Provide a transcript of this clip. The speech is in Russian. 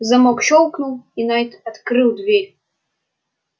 замок щёлкнул и найд открыл дверь